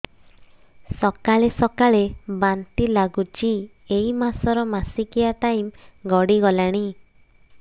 ସକାଳେ ସକାଳେ ବାନ୍ତି ଲାଗୁଚି ଏଇ ମାସ ର ମାସିକିଆ ଟାଇମ ଗଡ଼ି ଗଲାଣି